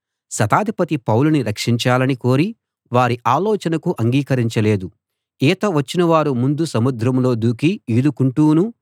శతాధిపతి పౌలుని రక్షించాలని కోరి వారి ఆలోచనకు అంగీకరించలేదు ఈత వచ్చినవారు ముందు సముద్రంలో దూకి ఈదుకుంటూనూ